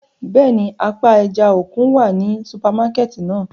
Bẹ́ẹ̀ni, apa ẹja-okun wa ni supamakẹti náa.